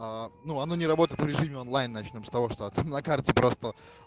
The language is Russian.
а ну оно не работает в режиме онлайн начнём с того что на карте просто